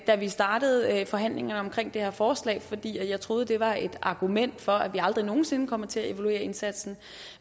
da vi startede forhandlingerne om det her forslag fordi jeg troede at det var et argument for at vi aldrig nogen sinde kommer til at evaluere indsatsen